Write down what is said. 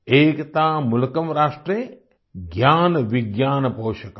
एकता मूलकम् राष्ट्रे ज्ञान विज्ञान पोषकम्